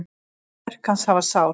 Verk hans hafa sál.